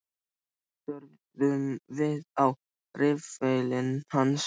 Á meðan störðum við á riffilinn hans.